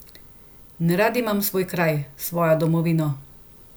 In rad imam svoj kraj, svojo domovino!